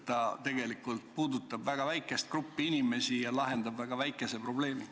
See tegelikult puudutab väga väikest gruppi inimesi ja lahendab väga väikese probleemi.